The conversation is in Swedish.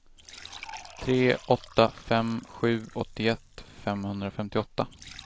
tre åtta fem sju åttioett femhundrafemtioåtta